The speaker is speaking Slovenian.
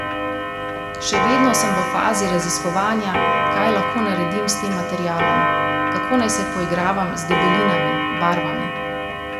Še vedno sem v fazi raziskovanja, kaj lahko naredim s tem materialom, kako naj se poigravam z debelinami, barvami.